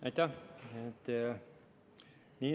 Aitäh!